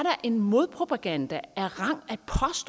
en modpropaganda af rang